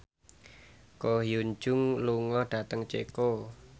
Ko Hyun Jung lunga dhateng Ceko